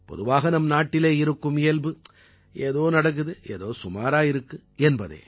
பொதுவாக நம்நாட்டிலே இருக்கும் இயல்பு ஏதோ நடக்குது ஏதோ சுமாரா இருக்கு என்பதே